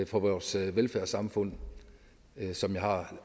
for vores velfærdssamfund som jeg har